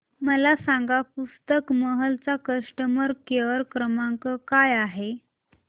मला सांगा पुस्तक महल चा कस्टमर केअर क्रमांक काय आहे